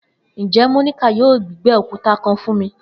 Njẹ Monica yoo gbígbẹ okuta kan fun mi?